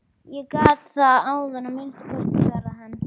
Ég gat það áðan að minnsta kosti, svaraði hann.